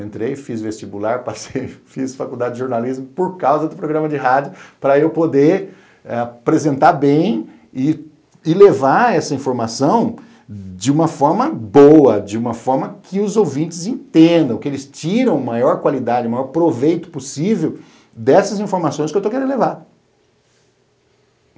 Entrei, fiz vestibular, passei, fiz faculdade de jornalismo por causa do programa de rádio para eu poder apresentar bem e e levar essa informação de uma forma boa, de uma forma que os ouvintes entendam, que eles tiram maior qualidade, maior proveito possível dessas informações que eu estou querendo levar.